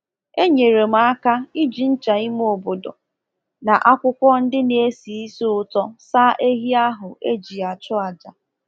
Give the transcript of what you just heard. Enyere m aka iji ncha ime obodo na akwụkwọ ndị na-esi ísì ụtọ saa ehi ahụ e ji achụ àjà.